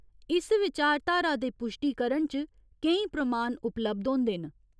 इस विचारधारा दे पुश्टीकरण च केईं प्रमाण उपलब्ध होंदे न।